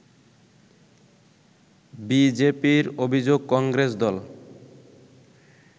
বিজেপির অভিযোগ কংগ্রেস দল